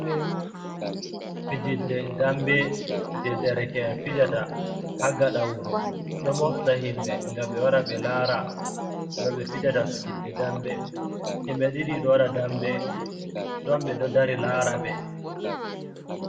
Fijirde dambe je dereke’en fijata ha gaɗa wuro ɗo mofta himɓe nga ɓe wara ɓe lara no ɓe fijata fijirde dambe. Himɓe ɗiɗi ɗo waɗa dambe ɗon ɓe ɗo dari lara ɓe.